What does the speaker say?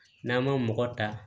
N'an ma mɔgɔ ta